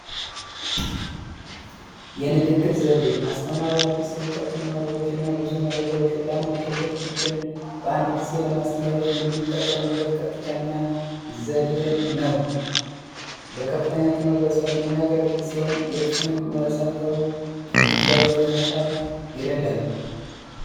የንግግር ዘዴ አስተማሪዋ አዲሰ እውቀትና የንግግር ዘዴ ብዙ መረጃዎችን ለአንድ ትልቅ ቡድን በአንድ ጊዜ ለማስተላለፍ የሚጠቀምበት ዘዴ ሲሆን የከፍተኛ ትምህርት በቀጥተኛ የሚያገለግል ሲሆን የእርሱንም መሰረታዊ ግንዛቤ ለመጣል ይረዳል።